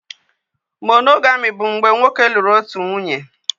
Monogami bụ mgbe nwoke lụrụ otu nwunye